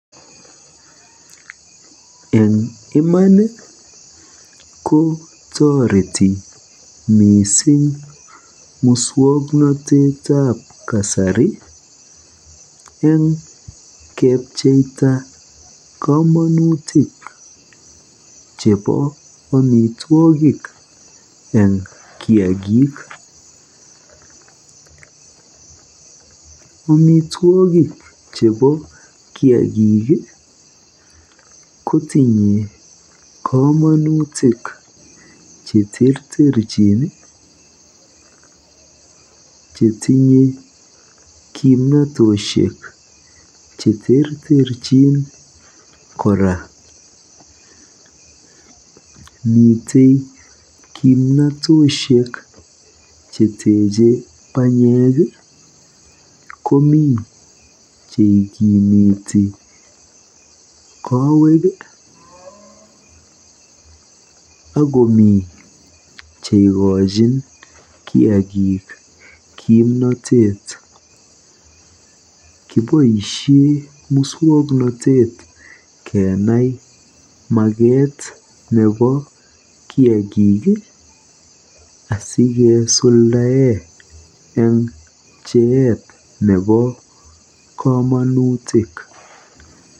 Eng iman ko toreti mising muswoknotetab kasari eng kepcheita komonutik chebo omitwogik eng kiagik. Amitwogik chebo kiagik kotinye komonutik cheterterchin ako tinye kimnatoshek cheterterchin kora. Mitei kimnatoshek cheteche banyek. Komi cheigimiti kowek akomi chekochin kiagik kimnotet. Kiboisie muswoknotet kenai maket nebo kiagik asigisuldae eng pcheet nebo komonutik.